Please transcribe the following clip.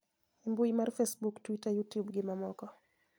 E mbui mar Facebook, Twitter, Youtube gi mamoko